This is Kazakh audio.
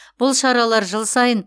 бұл шаралар жыл сайын